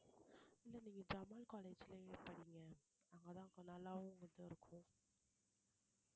இல்ல நீங்க ஜமால் college லயே படிங்க அங்கதான் நல்லாவும் இது இருக்கும்